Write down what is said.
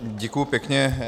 Děkuji pěkně.